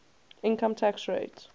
income tax rate